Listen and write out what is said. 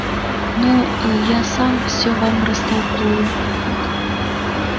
ну а я сам всё вам растолкую